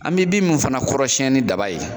An bɛ bin min fana kɔrɔsiyɛn ni daba ye,